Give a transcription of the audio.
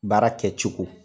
Baara kɛ cogo